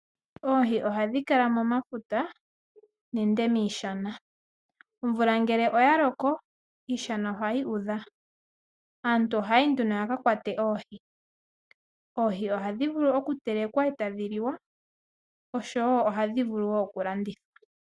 Oohi ohadhi kala momafuta nenge miishana. Omvula ngele oya loko iishana ohayi udha. Aantu ohaya yi nduno ya ka kwate oohi. Oohi ohadhi vulu okutelekwa e tadhi liwa osho wo ohadhi vulu wo okulandithwa.